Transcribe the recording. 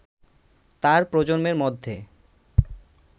তার প্রজন্মের মধ্যে